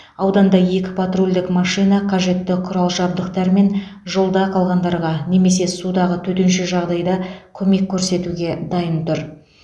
ауданда екі патрульдік машина қажетті құрал жабдықтармен жолда қалғандарға немесе судағы төтенше жағдайда көмек көрсетуге дайын тұр